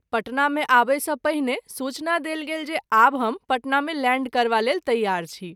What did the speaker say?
पटना मे आबय सँ पहिने सूचना देल गेल जे आब हम पटन मे लैंड करबा लेल तैयार छी।